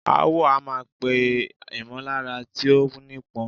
Aáwọ̀ a máa pè ìmọ̀lára tí ó nípọn.